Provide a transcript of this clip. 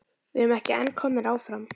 Við erum ekki en komnir áfram?